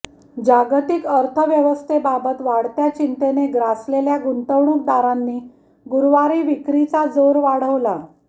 जागतिक अर्थव्यवस्थेबाबत वाढत्या चिंतेने ग्रासलेल्या गुंतवणूकदारांनी गुरुवारी विक्रीचा जोर वाढवला